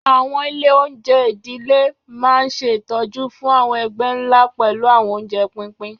Àwọn ilé-oúnjẹ ìdílé máa ń ṣe ìtọ́jú fún àwọn ẹgbẹ́ ńlá pẹ̀lú àwọn oúnjẹ pínpín.